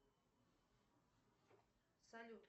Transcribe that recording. салют